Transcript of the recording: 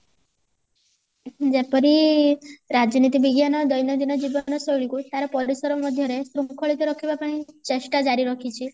ଯେପରି ରାଜନୀତି ବିଜ୍ଞାନ ଦୈନନ୍ଦିନ ଜୀବନ ଶୈଳୀକୁ ତାର ପରିସର ମଧ୍ୟରେ ଶୃଙ୍ଖଳିତ ରଖିବା ପାଇଁ ଚେଷ୍ଟା ଜାରି ରଖିଛି